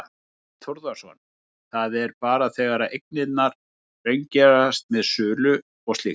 Þorbjörn Þórðarson: Það er bara þegar eignirnar raungerast með sölu og slíkt?